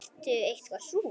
Ertu eitthvað súr?